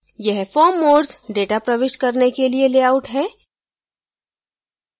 यह form modes data प्रविष्ट करने के लिए layout है